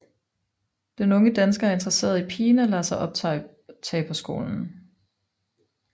Den unge dansker er interesseret i pigen og lader sig optage på skolen